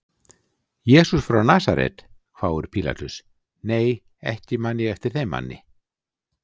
Jesús frá Nasaret, hváir Pílatus, nei ekki man ég eftir þeim manni.